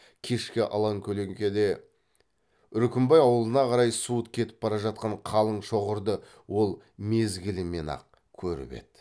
кешкі алакөлеңкеде үркімбай ауылына қарай суыт кетіп бара жатқан қалың шоғырды ол мезгілімен ақ көріп еді